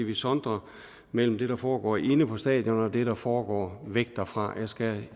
vi sondrer mellem det der foregår inde på stadion og det der foregår væk derfra jeg skal